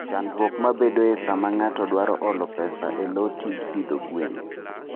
Chandruok mabedoe sama ng'ato dwaro holo pesa e lo tij pidho gwen.